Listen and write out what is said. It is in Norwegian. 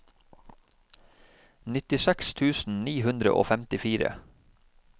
nittiseks tusen ni hundre og femtifire